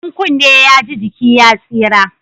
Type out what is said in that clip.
In kunne ya ji, jiki ya tsira